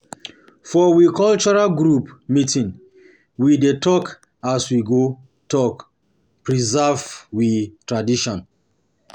For we cultural group meeting, we dey talk as we go take preserve we tradition.